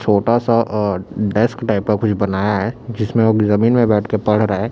छोटा सा अ डेस्क टाइप का कुछ बनाया है जिसमें वह जमीन में बैठकर पढ़ रहा है।